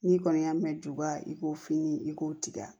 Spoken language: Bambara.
N'i kɔni y'a mɛn juba i k'o fini i k'o tigɛ